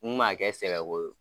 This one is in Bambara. N man kɛ sɛbɛ ko ye.